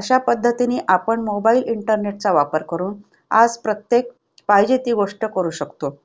अशा पद्धतीने आपण mobile internet चा वापर करून आज प्रत्येक पाहिजे ती गोष्ट करू शकतो.